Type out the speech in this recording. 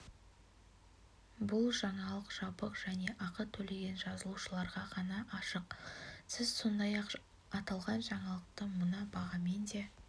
бұл жаңалық жабық және ақы төлеген жазылушыларға ғана ашық сіз сондай-ақ аталған жаңалықты мына бағамен де